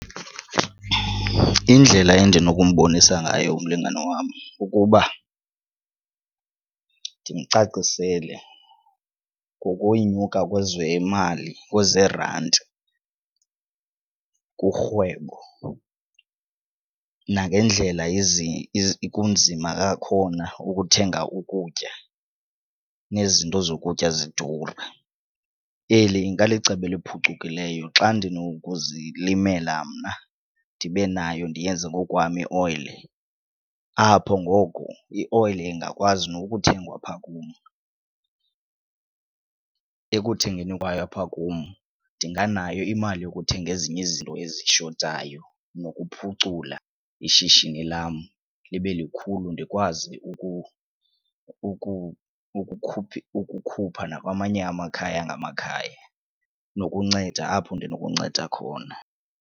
Indlela endinokumbonisa ngayo umlingane wam kukuba ndimcacisele ngokunyuka kwezemali kwezerandi kurhwebo nangendlela kunzima ngakhona ukuthenga ukutya nezinto zokutya zidura. Eli ingalicebo eliphucukileyo xa ndinokuzimela mna ndibe nayo ndiyenze ngokwam ioyile, apho ngoku ioyile ingakwazi nokuthengwa apha kum. Ekuthengweni kwayo apha kum ndinganayo imali yokuthenga ezinye izinto ezishotayo nokuphucula ishishini lam libe likhulu, ndikwazi ukukhupha nakwamanye amakhaya ngamakhaya nokunceda apho ndinokunceda khona.